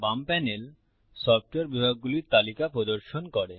বাম panel software বিভাগগুলির তালিকা প্রদর্শন করে